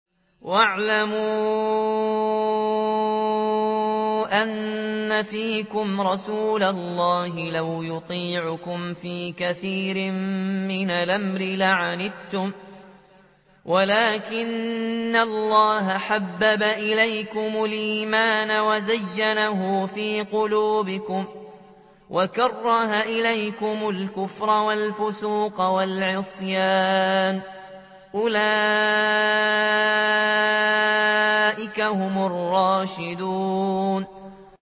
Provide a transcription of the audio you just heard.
وَاعْلَمُوا أَنَّ فِيكُمْ رَسُولَ اللَّهِ ۚ لَوْ يُطِيعُكُمْ فِي كَثِيرٍ مِّنَ الْأَمْرِ لَعَنِتُّمْ وَلَٰكِنَّ اللَّهَ حَبَّبَ إِلَيْكُمُ الْإِيمَانَ وَزَيَّنَهُ فِي قُلُوبِكُمْ وَكَرَّهَ إِلَيْكُمُ الْكُفْرَ وَالْفُسُوقَ وَالْعِصْيَانَ ۚ أُولَٰئِكَ هُمُ الرَّاشِدُونَ